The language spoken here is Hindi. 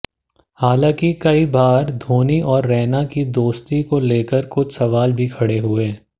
हालांकि कई बार धोनी और रैना की दोस्ती को लेकर कुछ सवाल भी खड़े हुए